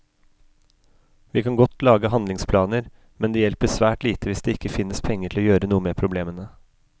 Vi kan godt lage handlingsplaner, men det hjelper svært lite hvis det ikke finnes penger til å gjøre noe med problemene.